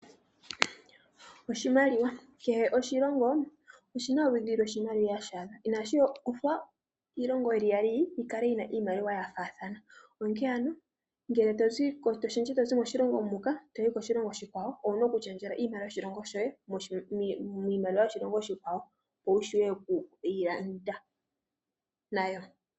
Kehe oshilongo oshina oludhi lwoshimaliwa shadho . Inashi uthwa iilongo yili iyali yi kale yina iimaliwa yafaathana. Onkee ano ngele tozi koshilongo muka toyi koshilongo oshikwawo owuna okulundulula iimaliwa yoshilongo shoye miimaliwa yokoshilongo oshikwawo. Opo wu shuwe okulanda nayo.